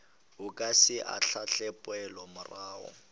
o ka se ahlaahle poelomorago